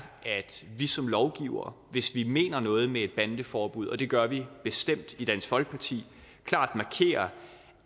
at vi som lovgivere hvis vi mener noget med et bandeforbud og det gør vi bestemt i dansk folkeparti klart markerer